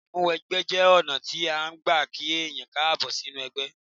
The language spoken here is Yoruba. Ìmúwẹgbẹ́ jẹ́ ọ̀nà tí án gbà kí èèyàn Káàbọ̀ sínú ẹgbẹ́